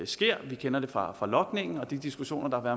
sker vi kender det fra logningen og de diskussioner der har